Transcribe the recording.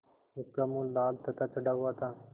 उसका मुँह लाल तथा चढ़ा हुआ था